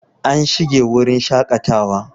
An shinge wurin shakatawa